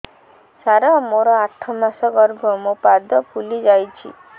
ସାର ମୋର ଆଠ ମାସ ଗର୍ଭ ମୋ ପାଦ ଫୁଲିଯାଉଛି